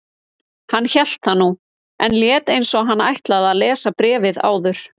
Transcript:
Hann hélt það nú, en lét eins og hann ætlaði að lesa bréfið áður.